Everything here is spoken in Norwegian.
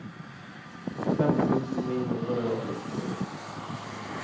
fem tusen ni hundre og sekstini